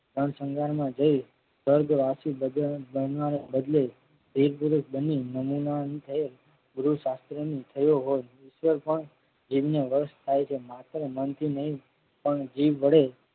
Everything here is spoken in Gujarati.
પણ સંગારમાં જઈ સ્વર્ગવાસી બદલે વીર પુરુષ બની નમૂનાને ગુરુ શાસ્ત્રને થયો હોય પણ જીભને વસ થાય છે માત્ર મનથી નહિ પણ જીભ વડે